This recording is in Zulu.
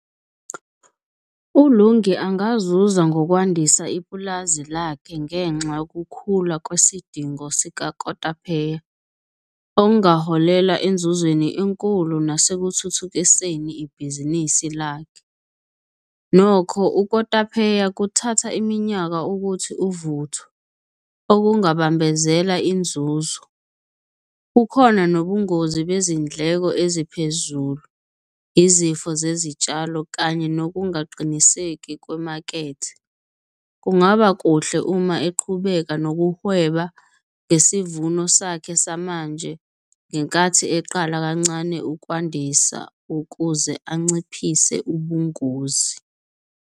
ULungi angazuza ngokwandisa ipulazi lakhe ngenxa yokukhula kwesidingo sikakotapheya, okungaholela enzuzweni enkulu nasekuthuthukiseni ibhizinisi lakhe. Nokho ukotapheya kuthatha iminyaka ukuthi uvuthwe okungabambezeleki inzuzo. Bukhona nobungozi bezindleko eziphezulu, izifo zezitshalo kanye nokungaqiniseki kwemakethe. Kungaba kuhle uma eqhubeka nokuhweba ngesivuno sakhe samanje ngenkathi eqala kancane ukwandisa ukuze anciphise ubungozi.